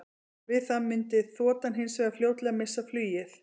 Við það mundi þotan hins vegar fljótlega missa flugið.